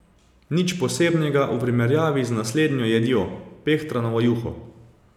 Nič posebnega v primerjavi z naslednjo jedjo, pehtranovo juho.